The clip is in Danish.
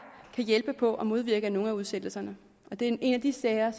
kan hjælpe på at modvirke nogle af udsættelserne det er en af de sager